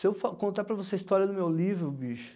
Se eu contar para você a história do meu livro, bicho...